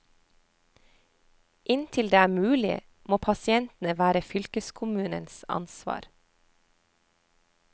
Inntil det er mulig, må pasientene være fylkeskommunens ansvar.